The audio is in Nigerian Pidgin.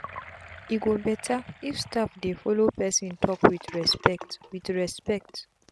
e go betterif staffs dey follow person talk with respect. with respect.